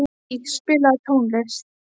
Rúbý, spilaðu tónlist.